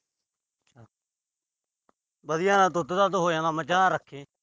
ਵਧੀਆ ਦੁੱਧ-ਦਾਧ ਹੋ ਜਾਂਦਾ, ਮੱਝਾਂ ਰੱਖੇ।